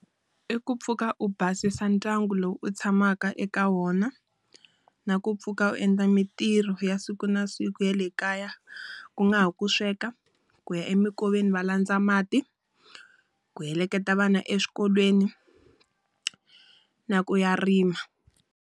I ku pfuka u basisa ndyangu lowu u tshamaka eka wona. Na ku pfuka u endla mintirho ya siku na siku ya le kaya. Ku nga ha va ku sweka, ku ya eminkoveni va landza mati, ku heleketa vana eswikolweni na ku ya rima.